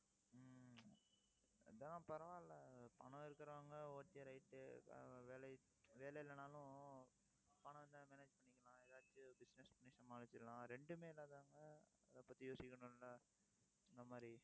அதான் பரவாயில்லை. பணம் இருக்கிறவங்க okay right வேலை~ வேலை இல்லைன்னாலும் பணம் இருந்தா manage பண்ணிக்கலாம் ஏதாச்சு business பண்ணி சமாளிச்சிக்கலாம் ரெண்டுமே இல்லாதவங்க, அதை பத்தி, யோசிக்கணும்ல அந்த மாதிரி